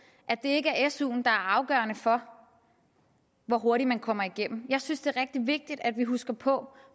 at det ikke er suen der er afgørende for hvor hurtigt man kommer igennem jeg synes det er rigtig vigtigt at vi husker på